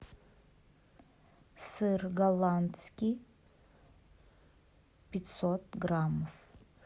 сыр голландский пятьсот граммов